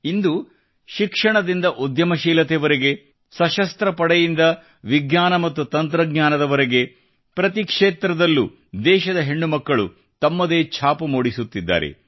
ಇಂದು ಶಿಕ್ಷಣದಿಂದ ಉದ್ಯಮ ಶೀಲತೆವರೆಗೆ ಸಶಸ್ತ್ರ ಪಡೆಯಿಂದ ವಿಜ್ಞಾನ ಮತ್ತು ತಂತ್ರಜ್ಞಾನದವರೆಗೆ ಪ್ರತಿ ಕ್ಷೇತ್ರದಲ್ಲೂ ದೇಶದ ಹೆಣ್ಣು ಮಕ್ಕಳು ತಮ್ಮದೇ ಛಾಪು ಮೂಡಿಸುತ್ತಿದ್ದಾರೆ